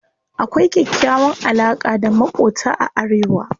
Akwai kyakkyawan alaƙa da maƙota a arewa.